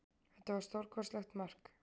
Þetta var stórkostlegt mark